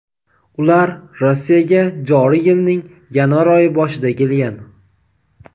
Ular Rossiyaga joriy yilning yanvar oyi boshida kelgan.